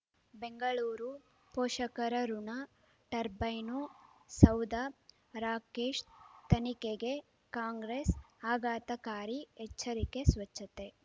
ಬೆಂಗಳೂರು ಪೋಷಕರಋಣ ಟರ್ಬೈನು ಸೌಧ ರಾಕೇಶ್ ತನಿಖೆಗೆ ಕಾಂಗ್ರೆಸ್ ಆಘಾತಕಾರಿ ಎಚ್ಚರಿಕೆ ಸ್ವಚ್ಛತೆ